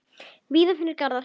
Víða finnast garðar.